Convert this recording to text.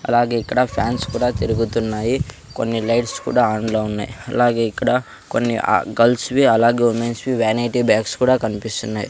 అలాగే ఇక్కడ ఫ్యాన్స్ కూడా తిరుగుతున్నాయి కొన్ని లైట్స్ కూడా ఆన్ లో ఉన్నాయి అలాగే ఇక్కడ కొన్ని ఆ గర్ల్స్ వి అలాగే ఉమెన్స్ వి వానైటీ బ్యాగ్స్ కూడా కనిపిస్తున్నాయి.